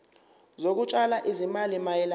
zokutshala izimali mayelana